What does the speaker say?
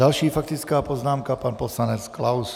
Další faktická poznámka, pan poslanec Klaus.